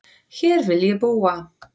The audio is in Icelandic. Hér vil ég búa